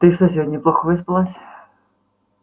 ты что сегодня плохо выспалась